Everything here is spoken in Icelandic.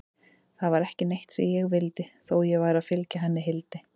Það var ekki neitt sem ég vildi, þó ég væri að fylgja henni Hildi.